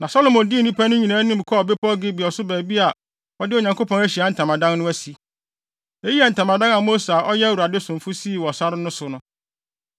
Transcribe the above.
Na Salomo dii nnipa no nyinaa anim kɔɔ bepɔw Gibeon so baabi a wɔde Onyankopɔn Ahyiae Ntamadan no asi. Eyi yɛ Ntamadan a Mose a ɔyɛ Awurade somfo sii wɔ sare no so no.